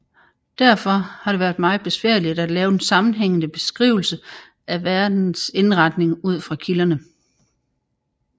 Derfor har det været meget besværligt at lave en sammenhængende beskrivelse af verdens indretning ud fra kilderne